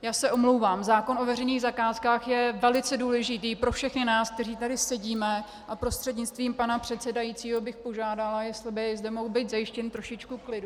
Já se omlouvám, zákon o veřejných zakázkách je velice důležitý pro všechny nás, kteří tady sedíme, a prostřednictvím pana předsedajícího bych požádala, jestli by zde mohlo být zajištěno trošičku klidu.